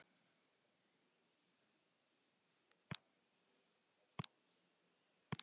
En þú skalt ekki vera að pæla í því